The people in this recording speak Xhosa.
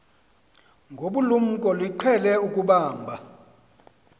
ngobulumko niqhel ukubamb